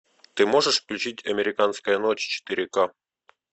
ты можешь включить американская ночь четыре ка